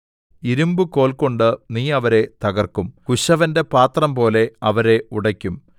ഇരിമ്പുകോൽകൊണ്ട് നീ അവരെ തകർക്കും കുശവന്റെ പാത്രംപോലെ അവരെ ഉടയ്ക്കും